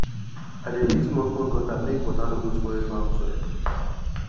i dey dig smallsmall gutter make water no go spoil farm soil